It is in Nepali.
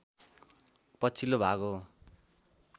पछिल्लो भाग हो